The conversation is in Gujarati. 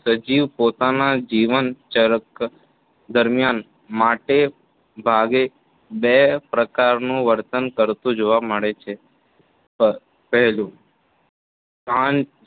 સજીવ પોતાના જીવનચક્ર દરમ્યાન મોટે ભાગે બે પ્રકારનું વર્તન કરતું જોવા મળે છે પહેલું સા